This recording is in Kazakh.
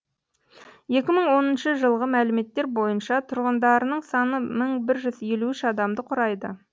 екі мың оныншы жылғы мәліметтер бойынша тұрғындарының саны мың бір жүз елу үш адамды құрайды